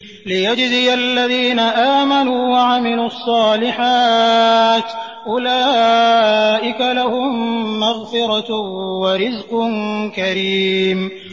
لِّيَجْزِيَ الَّذِينَ آمَنُوا وَعَمِلُوا الصَّالِحَاتِ ۚ أُولَٰئِكَ لَهُم مَّغْفِرَةٌ وَرِزْقٌ كَرِيمٌ